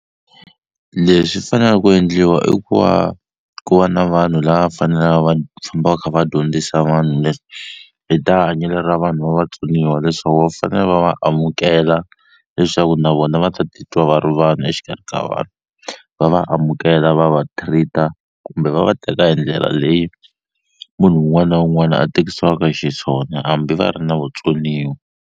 Leswi fanela ku endliwa i ku va ku va na vanhu lava fanelaka va famba va kha va dyondzisa vanhu hi ta hanyelo ra vanhu va vatsoniwa leswaku va fanele va va amukela leswaku na vona va ta titwa va ri vanhu exikarhi ka vanhu va va amukela va va treat-a kumbe va va teka hi ndlela leyi munhu wun'wana na wun'wana a tekisiwaka xiswona hambi va ri na vutsoniwa.